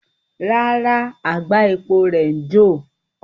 Rara, agba epo rẹ ǹ jo